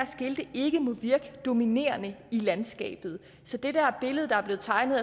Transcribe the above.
skilte ikke må virke dominerende i landskabet så det der billede der er blevet tegnet af